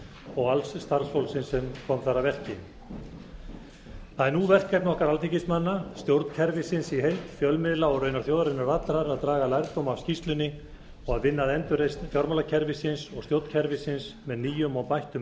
og alls starfsfólksins sem kom þar að verki það er nú verkefni okkar alþingismanna stjórnkerfisins í heild fjölmiðla og raunar þjóðarinnar allrar að draga lærdóm af skýrslunni og vinna að endurreisn fjármálakerfisins og stjórnkerfisins með nýjum og bættum